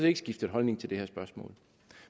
ikke skiftet holdning til det her spørgsmål